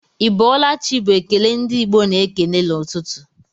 Ị bọọla chi bu ekele ndi Igbo na-ekele n'ụtụtụ